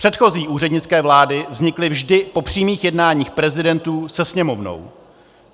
Předchozí úřednické vlády vznikly vždy po přímých jednáních prezidentů se Sněmovnou.